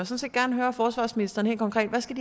set gerne høre forsvarsministeren helt konkret hvad skal